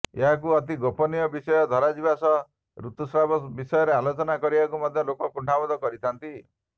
ଏହାକୁ ଅତି ଗୋପନୀୟ ବିଷୟ ଧରାଯିବା ସହ ରୁତୁସ୍ରାବ ବିଷୟରେ ଆଲୋଚନା କରିବାକୁ ମଧ୍ୟ ଲୋକେ କୁଣ୍ଠାବୋଧ କରିଥାନ୍ତି